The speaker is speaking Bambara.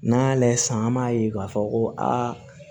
N'an y'a layɛ sisan an b'a ye k'a fɔ ko aa